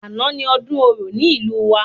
Àná ni ọdún orò ní ìlú wa